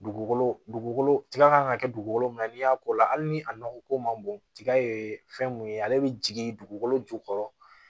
Dugukolo dugukolo tiga kan ka kɛ dugukolo min na n'i y'a ko la hali ni a nɔgɔ ko man bon tiga ye fɛn mun ye ale bɛ jigin dugukolo jukɔrɔ